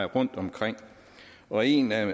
rundtomkring og en af